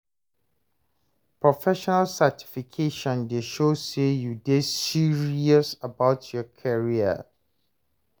Professional certification dey show sey you dey serious about your career.